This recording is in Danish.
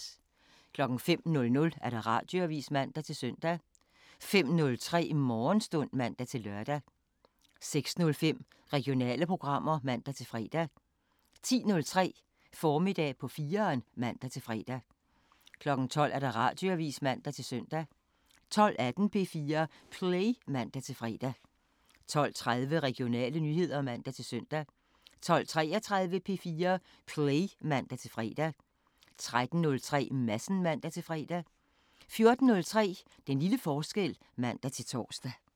05:00: Radioavisen (man-søn) 05:03: Morgenstund (man-lør) 06:05: Regionale programmer (man-fre) 10:03: Formiddag på 4'eren (man-fre) 12:00: Radioavisen (man-søn) 12:18: P4 Play (man-fre) 12:30: Regionale nyheder (man-søn) 12:33: P4 Play (man-fre) 13:03: Madsen (man-fre) 14:03: Den lille forskel (man-tor)